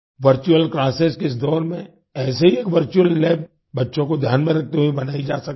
virtual classes के इस दौर में ऐसे ही एक वर्चुअल लैब बच्चों को ध्यान में रखते हुए बनाई जा सकती है